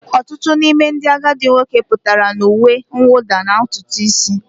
Ọtụtụ n'ime ndị agadi nwoke pụtara na uwe mwụda na ntutu isi